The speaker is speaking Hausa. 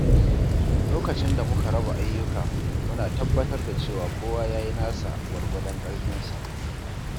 Lokacin da muka raba ayyuka, muna tabbatar da cewa kowa ya yi nasa gwargwadon ƙarfinsa.